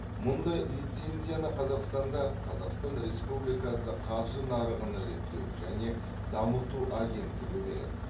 мұндай лицензияны қазақстанда қазақстан республикасы қаржы нарығын реттеу және дамыту агенттігі береді